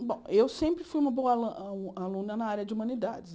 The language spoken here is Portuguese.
Bom, eu sempre fui uma boa alu alu aluna na área de humanidades.